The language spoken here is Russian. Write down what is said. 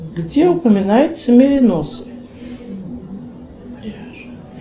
где упоминаются мериносы